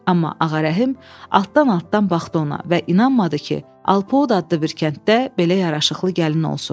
Amma Ağarəhim altdan-altdan baxdı ona və inanmadı ki, Alpoud adlı bir kənddə belə yaraşıqlı gəlin olsun.